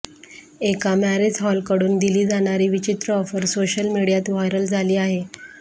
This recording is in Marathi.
एका मॅरेज हॉलकडून दिली जाणारी विचित्र ऑफर सोशल मीडियात व्हायरल झाली आहे